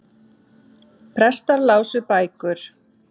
Prestar lásu bækur.